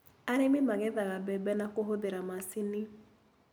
Arĩmi magethaga mbembe na kũhũthĩra macini.